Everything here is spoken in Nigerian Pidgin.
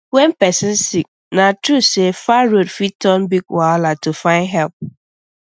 when person sick na true say far road fit turn big wahala to find help